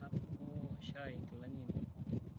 Atubukoko shai nkilani ainei.